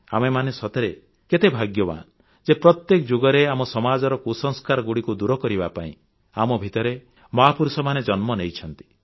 ଆମେମାନେ ସତରେ କେତେ ଭାଗ୍ୟବାନ ଯେ ପ୍ରତ୍ୟେକ ଯୁଗରେ ଆମ ସମାଜର କୁସଂସ୍କାରଗୁଡ଼ିକୁ ଦୂର କରିବା ପାଇଁ ଆମ ଭିତରେ ମହାପୁରୁଷମାନେ ଜନ୍ମ ନେଇଛନ୍ତି